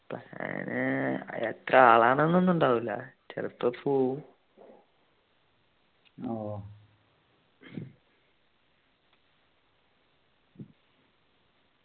plan എത്ര ആളാണ് എന്നൊന്നും ഉണ്ടാവൂല ചെലപ്പോ പോവും